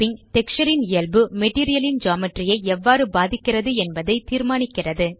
texture ன் இயல்பு material ன் ஜியோமெட்ரி ஐ எவ்வாறு பாதிக்கிறது என்பதைத் தீர்மானிக்கிறது